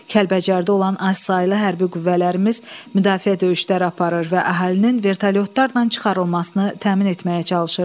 Kəlbəcərdə olan azsaylı hərbi qüvvələrimiz müdafiə döyüşləri aparır və əhalinin vertolyotlarla çıxarılmasını təmin etməyə çalışırdı.